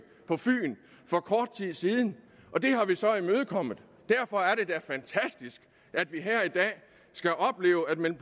på fyn for kort tid siden og det har vi så imødekommet derfor er det da fantastisk at vi her i dag skal opleve at man